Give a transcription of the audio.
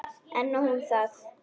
En nóg um það.